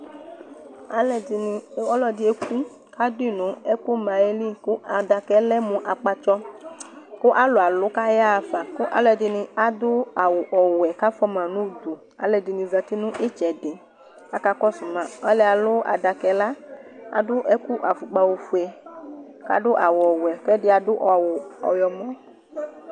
ɔluɛdɩ eku, kʊ adu yi nʊ adaka li, kʊ adaka yɛ lɛ mʊ akpatsɔ, alʊ alu kʊ ayaɣa fa, aluɛdɩnɩ adʊ awuwɛ, kʊ afuama nʊ udu, aluɛdɩnɩ zati nʊ itsɛdɩ, kʊcakakɔsu ma, ɔlʊyɛ alu adaka yɛ, adʊ ɛlɛnuti, ofue, kʊ adʊ awu ɔwɛ, kʊ ɛdɩ awu ɔwlɔmɔ